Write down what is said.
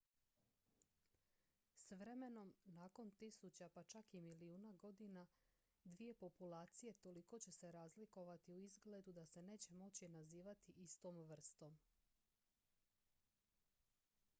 s vremenom nakon tisuća pa čak i milijuna godina dvije populacije toliko će se razlikovati u izgledu da se neće moći nazivati istom vrstom